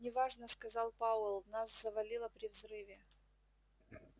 не важно сказал пауэлл нас завалило при взрыве